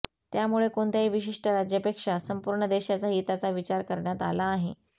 त्यामुळे कोणत्याही विशिष्ट राज्यापेक्षा संपूर्ण देशाच्या हिताचा विचार करण्यात आला आहे